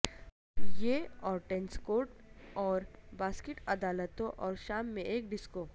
یہ اور tennis court اور باسکٹ عدالتوں اور شام میں ایک ڈسکو